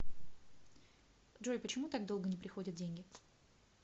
джой почему так долго не приходят деньги